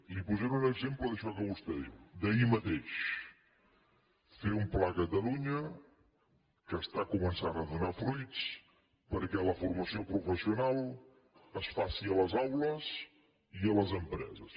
li posaré un exemple d’això que vostè diu d’ahir mateix fer un pla a catalunya que comença a donar fruits perquè la formació professional es faci a les aules i a les empreses